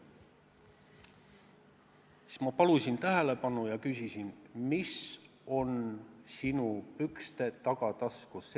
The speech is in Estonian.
Siis ma palusin tähelepanu ja küsisin talt: mis on sinu pükste tagataskus?